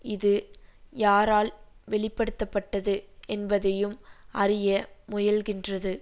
இது யாரால் வெளிப்படுத்த பட்டது என்பதையும் அறிய முயல்கின்றது